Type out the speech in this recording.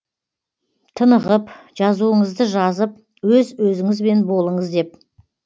тынығып жазуыңызды жазып өз өзіңізбен болыңыз деп